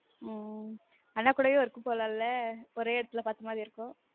உம் அண்ணா கூடவே work போலாம்ல ஒரே எடத்துல பார்த்த மாதிரி இருக்கும்